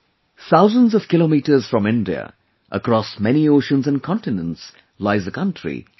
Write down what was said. thousands of kilometers from India, across many oceans and continents, lies a country Chile